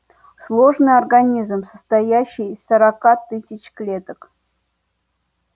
сложный организм состоящий из сорока тысяч клеток